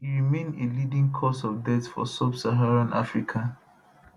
e remain a leading cause of death for subsaharan africa